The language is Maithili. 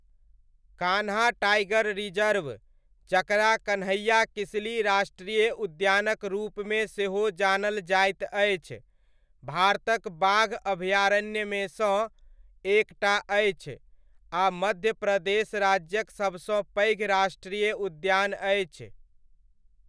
कान्हा टाइगर रिजर्व, जकरा कन्हैया किसली राष्ट्रीय उद्यानक रूपमे सेहो जानल जाइत अछि, भारतक बाघ अभयारण्यमेसँ एक टा अछि आ मध्य प्रदेश राज्यक सबसँ पैघ राष्ट्रीय उद्यान अछि।